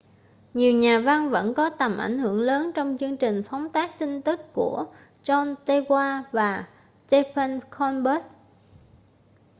nhiều nhà văn vẫn có tầm ảnh hưởng lớn trong chương trình phóng tác tin tức của jon stewart và stephen colbert